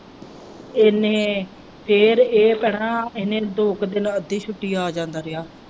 ਇਹਨੇ ਫਿਰ ਇਹ ਭੈਣਾਂ ਇਹਨੇ ਦੋ ਕ ਦਿਨ ਅੱਧੀ ਛੁੱਟੀ ਆ ਜਾਂਦਾ ਰਿਹਾ।